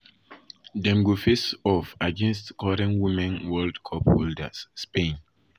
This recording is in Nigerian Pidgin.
dem go face off against current women world cup holders spain.